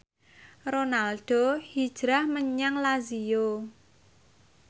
Ronaldo hijrah menyang Lazio